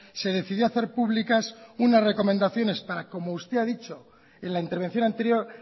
se decidió hacer públicas unas recomendaciones para como usted ha dicho en la intervención anterior